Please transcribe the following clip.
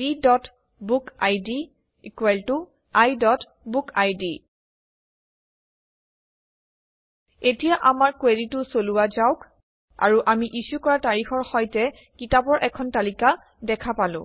bবুকিড iবুকিড এতিয়া আমাৰ কুৱেৰিটো চলোৱা যাওক আৰু আমি ইছ্যু কৰা তাৰিখৰ সৈতে কিতাপৰ এখন তালিকা দেখা পালো